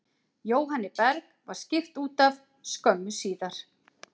Jóhanni Berg var skipt útaf skömmu síðar.